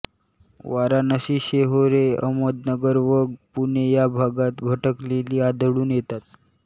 वाराणशी सेहोरे अहमदनगर व पुणे या भागांत भटकलेली आढळून येतात